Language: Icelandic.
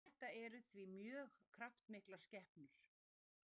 þetta eru því mjög kraftmiklar skepnur